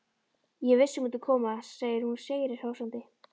Ég vissi að þú myndir koma, segir hún sigri hrósandi.